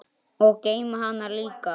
Og geyma hana líka.